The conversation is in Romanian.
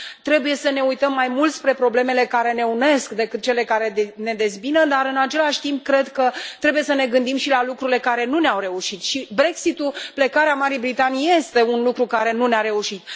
Trebuie să ne uităm mai mult spre problemele care ne unesc decât spre cele care ne dezbină, dar, în același timp, cred că trebuie să ne gândim și la lucrurile care nu ne au reușit, iar Brexit ul, plecarea Marii Britanii, este un lucru care nu ne a reușit.